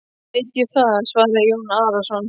Veit ég það, svaraði Jón Arason.